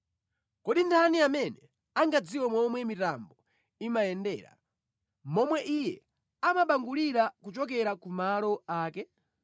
Kodi ndani amene angadziwe momwe mitambo imayendera, momwe Iye amabangulira kuchokera kumalo ake?